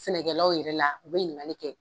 Sɛnɛkɛlaw yɛrɛ la u bɛ ɲininkali kɛ.